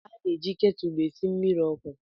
A na-eji ketụlụ esi mmiri ọkụ